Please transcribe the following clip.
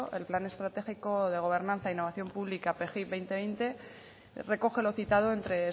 el plan estratégico de gobernanza e innovación pública pgi dos mil veinte recoge lo citada entre